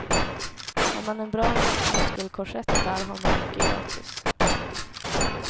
Har man en bra muskelkorsett där har man mycket gratis.